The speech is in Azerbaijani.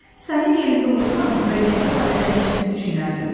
Sənin yerində olsam vəziyyəti barədə ciddi düşünərdim.